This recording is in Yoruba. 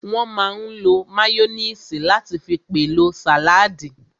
Wọ́n máa n lo máyóníìsì láti fi pèlò sàládì